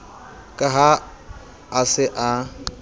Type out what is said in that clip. ka ha a se a